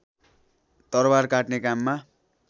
तरबार काट्ने काममा